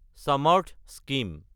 Samarth scheme